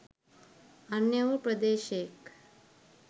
අන්‍ය වූ ප්‍රදේශයෙක්